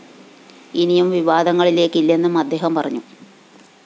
ഇനിയും വിവാദങ്ങളിലേക്കില്ലെന്നും അദ്ദേഹം പറഞ്ഞു